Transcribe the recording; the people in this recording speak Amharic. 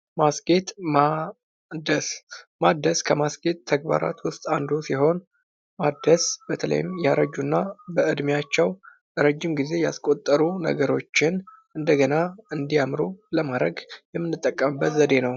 ማስጌጥ እና ማደስ፦ ማደስ ከማስጌጥ ተግባራቶች ውስጥ አንዱ ሲሆን ማደስ በተለይም ያረጁ እና በእድሜያቸው ረጂም ጊዜ ያስቆጠሩ ነገሮችን እንደገና እንዲያምሩ ለማድረግ የምንጠቀምበት ዘዴ ነው።